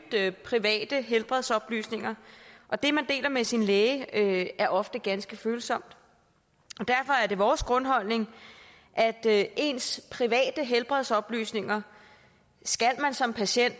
private helbredsoplysninger og det man deler med sin læge er ofte ganske følsomt derfor er det vores grundholdning at ens private helbredsoplysninger skal man som patient